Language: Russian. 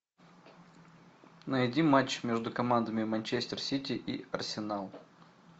найди матч между командами манчестер сити и арсенал